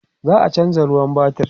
za'a chanza ruwan batir